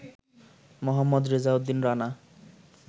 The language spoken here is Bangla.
মোহাম্মদ রেজাউদ্দিন রানা